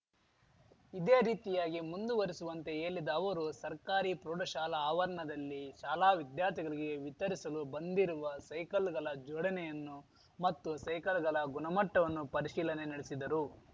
ಇದೇ ರೀತಿಯಾಗಿ ಮುಂದುವರಿಸುವಂತೆ ಹೇಲಿದ ಅವರು ಸರ್ಕಾರಿ ಪ್ರೌಢಶಾಲಾ ಅವರ್ನದಲ್ಲಿ ಶಾಲಾ ವಿದ್ಯಾರ್ಥಿಗಳಿಗೆ ವಿತರಿಸಲು ಬಂದಿರುವ ಸೈಕಲ್‌ಗಲ ಜೋಡಣೆಯನ್ನು ಮತ್ತು ಸೈಕಲ್‌ಗಲ ಗುಣಮಟ್ಟವನ್ನು ಪರಿಶೀಲನೆ ನಡೆಸಿದರು